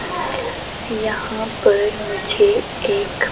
यहां पर मुझे एक--